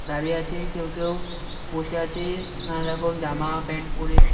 দাড়িয়ে আছে কেউ কেউ বসে আছে নানারকম জামা প্যান্ট পরে।